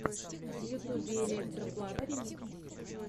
в ютубе электро плата ремикс